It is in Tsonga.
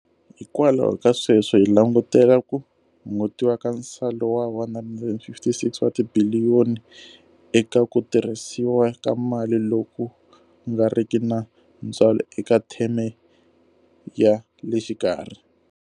Hikwalaho ka sweswo, hi langutela ku hungutiwa ka nsalo wa R156 wa tibiliyoni eka ku tirhisiwa ka mali loku nga riki na ntswalo eka theme ya le xikarhi.